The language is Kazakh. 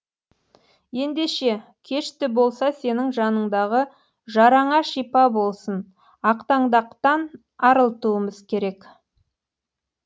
ендеше кеш те болса сенің жаныңдағы жараңа шипа болсын ақтаңдақтан арылтуымыз керек